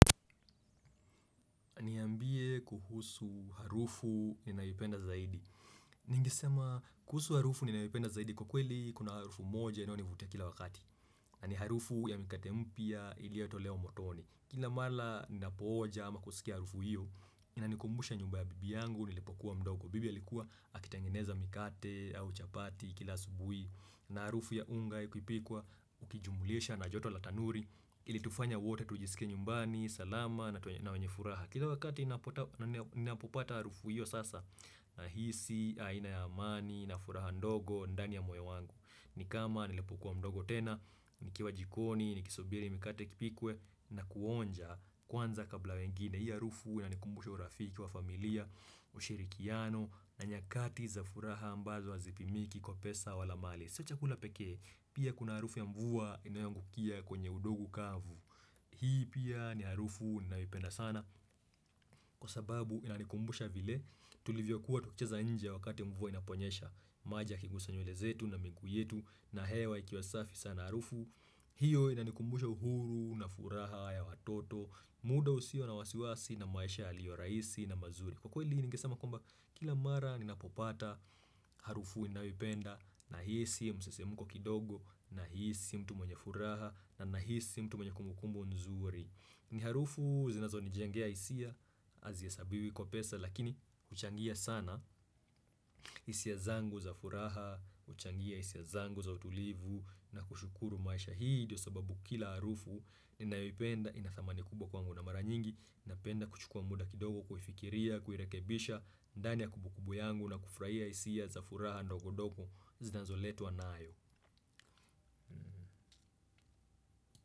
Niambie kuhusu harufu ninaipenda zaidi Ningisema kuhusu harufu ninaipenda zaidi kwa kweli kuna harufu moja inao nivutia kila wakati na ni harufu ya mikate mpya iliotolewa motoni Kila mala ninapo oja ama kusikia harufu hiyo Inanikumbusha nyumba ya bibi yangu nilipokuwa mdogo Bibia likuwa akitengeneza mikate au chapati kila asubuhi na harufu ya unga ikuipikwa ukijumulisha na joto la tanuri Ilitufanya wote tujisike nyumbani, salama na wenye furaha Kila wakati ninapopata harufu hiyo sasa Nahisi, aina ya amani, na furaha ndogo, ndani ya moyo wangu ni kama nilipokuwa mdogo tena, nikiwa jikoni, ni kisubiri mikate kipikwe na kuonja kwanza kabla wengine hiyo arufu inanikumbusha urafiki wa familia, ushirikiano na nyakati za furaha ambazo hazipimiki kwa pesa wala mali sio chakula pekee, pia kuna harufu ya mvua inayangukia kwenye udogu kavu Hii pia ni harufu ninaoipenda sana Kwa sababu inanikumbusha vile tulivyo kuwa tukcheza nje wakati mvua inaponyesha maji yakigusa nywele zetu na miguuu yetu na hewa ikiwasafi sana harufu hiyo inanikumbusha uhuru na furaha ya watoto muda usio na wasiwasi na maisha yaliyo rahisi na mazuri Kwa kweli ningesama kwamba kila mara ninapopata harufu iinaopenda nahisi msisimuko kidogo na hii si mtu mwenye furaha na na hii si mtu mwenye kumukumbo nzuri ni harufu zinazo ni jengea hisia hazihesabiwi kwa pesa lakini huchangia sana hisia zangu za furaha huchangia hisia zangu za utulivu na kushukuru maisha hii ndio sababu kila harufu Inayipenda ina thamani kubwa kwangu na mara nyingi napenda kuchukua muda kidogo Kuifikiria, kuirekebisha ndani ya kumbukumbu yangu na kufurahia hisia za furaha ndogondogo zinazo letwa nayo.